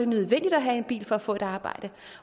nødvendigt at have en bil for at få et arbejde